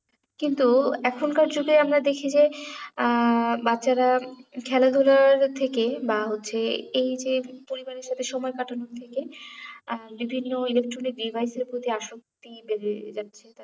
কিন্তু এখনকার যুগে আমরা দেখি যে আহ বাচ্ছারা খেলা ধুলার থেকে বা হচ্ছে এই যে পরিবারের সাথে সময় কাটানোর থেকে আহ বিভিন্ন electronic device এর প্রতি আসক্তি বেড়ে যাচ্ছে তাদের